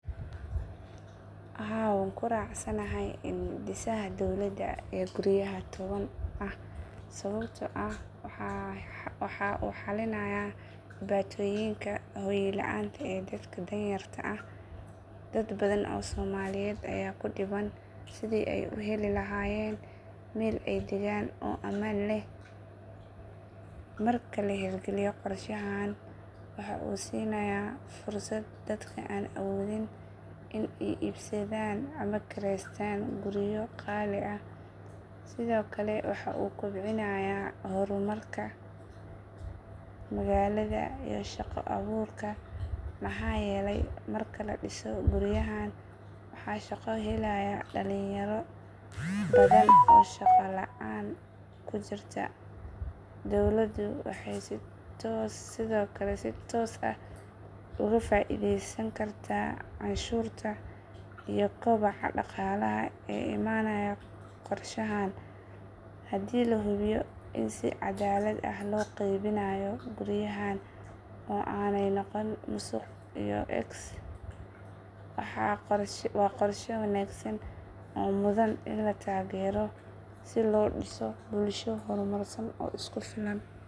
Haa wan kuracsana haay indisaha dowlada ee guriyaha towan ah, sobabto ah waha uxalinaya dibatoyinka hoyo laanta iyo dadkaa dan yarta ah, dad badan oo somaliyet aya kudiban sidi ay uheli lahayen mel ay degan oo aman Leh, marka laher galiyo korshahan wuhu sinaya fursat dadka aan awothin in ay ibsadan ama ay kireystan guriyo qali ah, sidho kale wuhu kubcinaya hormarka ,magalada iyo shaqa aburka , maxa yele marki ladiso guriyahan, waha shaqo helaya dalin yaro badan oo shaqa laan kujirta ,dowladu wahay sidokale si toos ah oga faideysan karta canshurtaa iyo kobaca daqalaha ee imanayo ,korshahan hadii lahubiyo in sii cadalad ah loqeybinayo guriyahan oo anayn noqonin nusuq iyo ex waa qorsho wanagsan oo muthan in latagero si lo diso bulsho hormarsan oo isku filan.